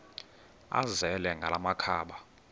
azele ngala makhaba